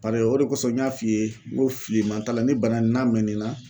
Paseke o de kosɔn n y'a f'i ye n ko filiman t'a la ni bana in n'a mɛnn'i na.